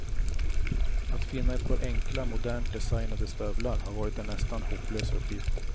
Att finna ett par enkla, modernt designade stövlar har varit en nästan hopplös uppgift.